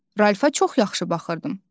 Ralfa çox yaxşı baxırdım.